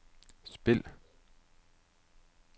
spil